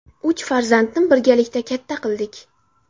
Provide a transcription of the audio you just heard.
Uch farzandni birgalikda katta qildik.